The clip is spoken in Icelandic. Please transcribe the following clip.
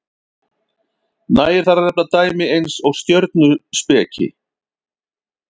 nægir þar að nefna dæmi eins og stjörnuspeki